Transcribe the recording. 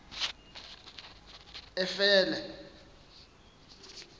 efele